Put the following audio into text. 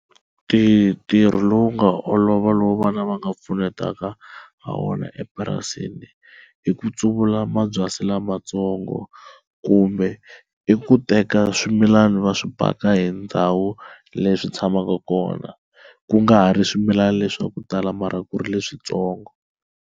ntirho lowu nga olova lowu vana va nga pfunetaka ha wona epurasini i ku tsavula mabyasi lamatsongo, kumbe i ku teka swimilana va swi paka hi ndhawu leyi swi tshamaka kona ku nga ha ri swimilana leswa ku tala mara ku ri leswitsongo.